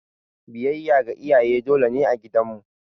Biyayya ga iyaye dole ne a gidan mu.